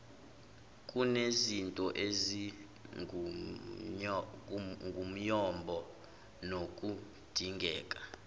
kunezinto ezingumyombo nokudingeka